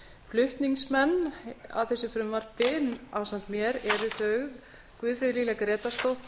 flutningsmenn að þessu frumvarpi ásamt mér eru þau guðfríður lilja grétarsdóttir